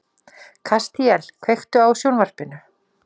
Kastíel, kveiktu á sjónvarpinu.